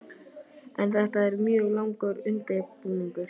Þóra Kristín: En þetta er mjög langur undirbúningur?